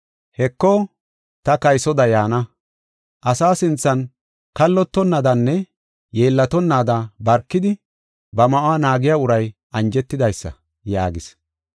“Heko, ta kaysoda yaana! Asa sinthan kallotonaadanne yeellatonnaada barkidi, ba ma7uwa naagiya uray anjetidaysa!” yaagis.